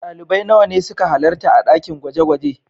Dalibai nawa ne suka halarta a dakin gwaje-gwaje?